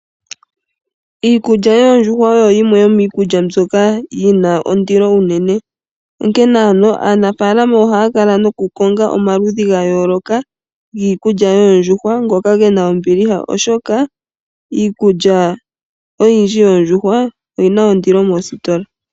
Iikulya yoondjuhwa oyo yimwe yomiikulya mbyoka yina ondilo ,onkene ano aanafaalama ohaya kala noku konga omaludhi ga yooloka giikulya yoondjuhwa ngoka gena ombiliha oshoka iikulya oyindji yoondjuhwa oyina ondilo mositola.